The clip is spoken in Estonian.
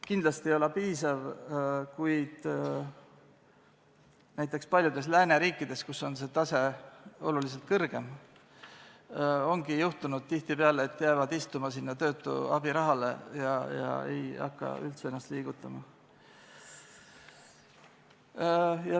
Kindlasti ei ole see piisav, kuid näiteks paljudes lääneriikides, kus see tase on oluliselt kõrgem, ongi juhtunud tihtipeale nii, et jäädakse istuma sinna töötu abirahale ega hakata üldse ennast liigutama.